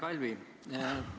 Hea Kalvi!